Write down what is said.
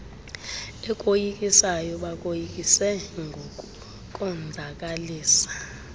ekoyikisayo bakoyikise ngokukonzakalisa